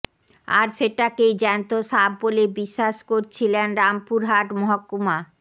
আর সেটাকেই জ্যান্ত সাপ বলে বিশ্বাস করছিলেন রামপুরহাট মহকুমা